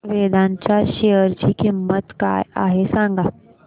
वेदांत च्या शेअर ची किंमत काय आहे सांगा